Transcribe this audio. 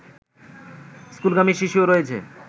স্কুলগামী শিশুও রয়েছে